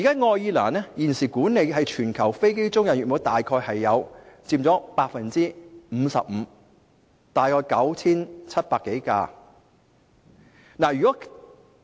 愛爾蘭現時管理約 55% 的全球飛機租賃服務，大約 9,700 多架飛機。